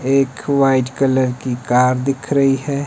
एक white colour की car दिख रही है।